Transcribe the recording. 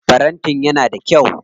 Farantin yana da kyau.